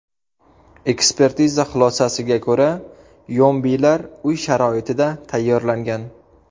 Ekspertiza xulosasiga ko‘ra, yombilar uy sharoitida tayyorlangan.